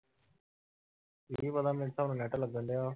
ਇਹ ਨੀ ਪਤਾ ਮੇਰੇ ਹਿਸਾਬ ਨਾਲ net ਲੱਗਣ ਡਿਆ